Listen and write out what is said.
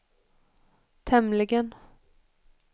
tämligen